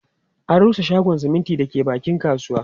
An rusa shagon siminti da ke bakin kasuwa